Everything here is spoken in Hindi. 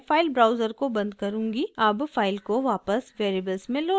अब फाइल को वापस वेरिएबल्स में लोड करते हैं